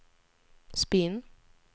spinn